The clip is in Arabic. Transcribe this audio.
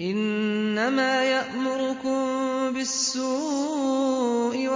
إِنَّمَا يَأْمُرُكُم بِالسُّوءِ